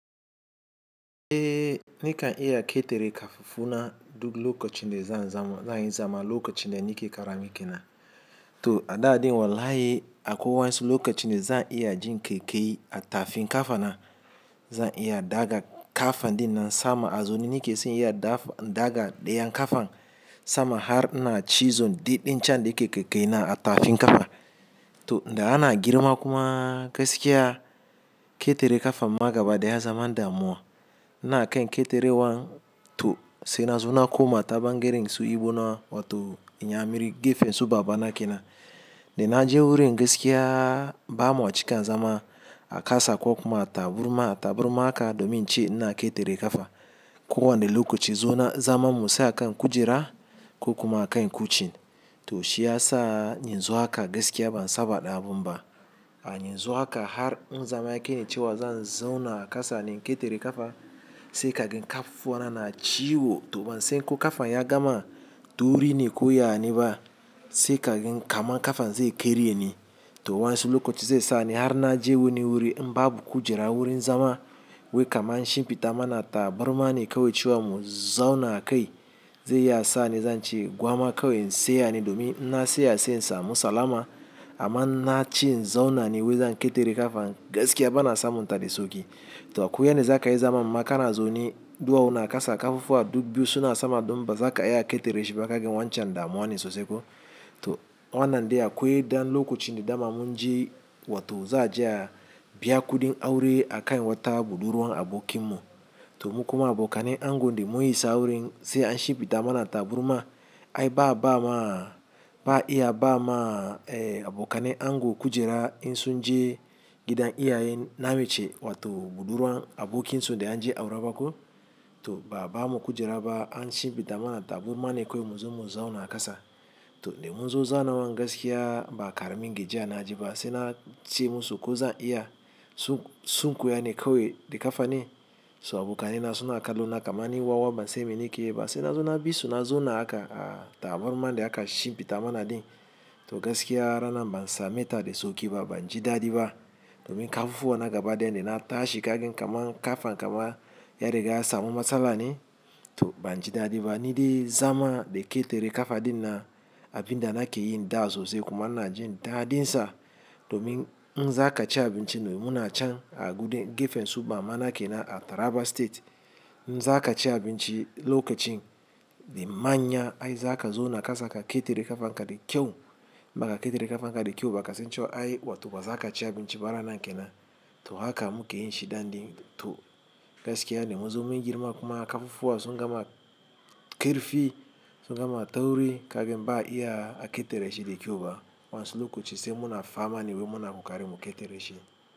Eh, nakan iya ƙetare kafafuna duk lokacin da zan yi zama lokacin da nake ƙarami ke na. To a da ɗin wallahi akwai wasu lokacin da za'a iya jin ƙaiƙayi a tafin ƙafa na. Zan iya daga kafan dinnan sama a zaune nake sai in iya daga ɗayan kafan sama har ina ci zon diɗin can da yake ƙaiƙayi na a tafin kafa. To, da ana girma kuma gaskiya ƙetare kafan ma gaba da ya zaman damuwa. Ina kai ƙetare wan to sai na zo na koma ta ɓangaren su Igbo na wato inyamiri gefen su babana ke na. Da na je wurin gaskiya ba ma cika zama a kasa ko kuma a tabarma, tabarma haka domin in ce ina ƙetare kafa. Ko wani lokaci zauna zaman musa a kan kujera ko kuma a kan cushin to shi ya sa in zo haka gaskiya ban saba da abun ba. A yanzu haka har in zama yakai ni cewa zan zauna a ƙasa ne ina ƙetare kafa sai ka gan kafafuwa na na ciwo. To ban san ko kafan ya gama tauri ne ko ya ne ba sai ka gan kamar kafan zai karye ne. To wa'yansu lokaci zai sa ni har na je wani wuri in babu kujera wurin zama wai kamar an shimfiɗa mana tabarma ne kawai cewa mu zauna a kai. Zai iya sa ni zan ci gwama kawai in tsaya ne domin na tsaya sai in samu salama. Amma na cin zauna ne wai zan ƙetare kafa gaskiya bana samun ta da sauƙi to akwai yanda zakayi zaman ma kana zaune ɗuwawu na kasa ƙafafuwa duk biyu suna sama don bazaka iya ƙetare shi ba ka gan wancan damuwa ne sosai ko. To wannan dai akwai dan lokacin da dama mun je wato za a je biya kuɗin aure a kai wata buɗurwan abokin mu. To mu kuma abokanen ango dai mun is wurin sai an shimfiɗa mana tabarma. Ai ba a ba ma, ba a iya ba ma abokane ango kujera in sun je gidan iyayen na mace wato buɗurwan abokin su da an je aure ba ko. To ba a ba mu kujera ba an shimfiɗa mana tabarma ne kawai mu zo mu zauna a kasa. To dai mun zo zauna wan gaskiya ba a ƙara min gajiya na ji ba sai na ce musu ko zan iya sunkuye ne kawai da kafa ne. So abokanaina suna kallona kamar ni wawa ban san me nake yi ba sai na zo na bi su na zauna haka a tabarma dai aka shimfiɗa mana din. To gaskiya rana ban same ta da sauƙi ba ban ji daɗi ba. Domin kafafuwa na gaba dayan da na tashi ka gan kamar kafan kamar ya riga ya samu matsala ne to ban ji dadi ba. Ni dai zama da ƙetare kafa dinnan abin da nake yin da sosai kuma na jin daɗin sa. Domin in za kaci abinci ne mu na can a guden gefen su mama na ke na a Taraba state. In za kaci abinci lokacin dai manya ai za ka zauna kasa ka ƙetare kafan ka da kyau. In baka ƙetare kafan ka da kyau ba ka san cewa ai wato ba za ka ci abinci ba rana nan ke nan to haka muke yin shi da ɗin to gaskiya dai mun zo mun girma kuma kafafuwan sun gama ƙarfi, sun gama tauri ka gan ba a iya a ƙetare shi da kyau ba. Wa'yansu lokaci sai muna fama ne wai muna ƙoƙari mu ƙetare shi.